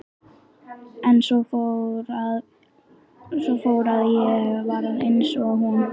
En svo fór að ég varð eins og hún.